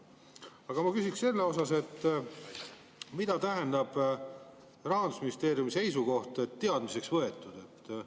Aga ma küsiksin selle kohta, mida tähendab Rahandusministeeriumi seisukoht: teadmiseks võetud?